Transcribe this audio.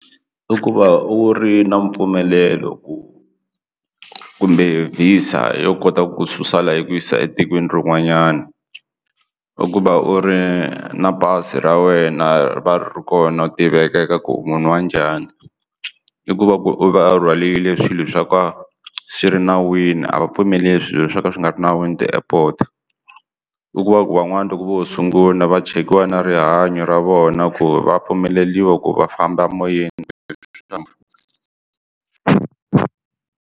I ku va u ri na mpfumelelo ku kumbe visa a yo kota ku susa layi ku yisa etikweni rin'wanyana i ku va u ri na pasi ra wena ri va ri ri kona u tiveka eka ku munhu wa njhani i ku va ku va rhwaliwile swilo swo ka swi ri nawini a va pfumeli swilo swo ka swi nga ri nawini ti-airport i ku va ku van'wana loko vo sungula va chekiwa na rihanyo ra vona ku va pfumeleriwa ku va famba emoyeni.